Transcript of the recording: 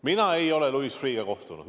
Mina ei ole Louis Freeh'ga kohtunud.